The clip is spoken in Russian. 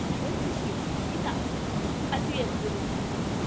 большое спасибо и так ответ будет